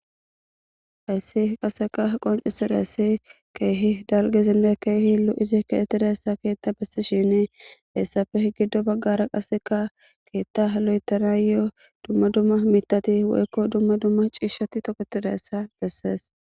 Hayssi qaseka qoncisirayssi keehi dalgezinne keehiilu izi kaettidayssa keetta bessi shinii heessafe giddo baggara qaseka keetta halo7etana yoo dumma dumma mitati waykko dumma dumma ciishshatti tokotidayessa bessees.